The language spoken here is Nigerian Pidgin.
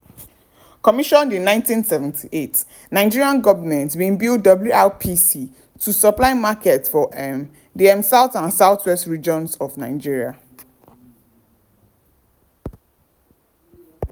commissioned in 1978 nigeria goment bin build wrpc to supply markets for um di um south and southwest regions of nigeria.